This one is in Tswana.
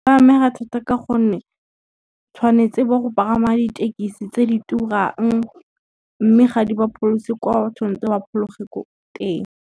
Ba amega thata ka gonne, tshwanetse ba go pagama ditekisi tse di turang, mme ga di ba pholese kwa tshwanetse ba phologole ko teng.